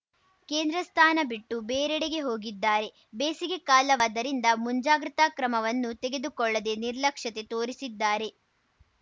ಕೇಂದ್ರ ಸ್ಥಾನ ಬಿಟ್ಟು ಬೇರೆಡೆಗೆ ಹೋಗಿದ್ದಾರೆ ಬೇಸಿಗೆ ಕಾಲವಾದ್ದರಿಂದ ಮುಂಜಾಗ್ರತಾ ಕ್ರಮವನ್ನು ತೆಗೆದುಕೊಳ್ಳದೇ ನಿರ್ಲಕ್ಷತೆ ತೋರಿಸಿದ್ದಾರೆ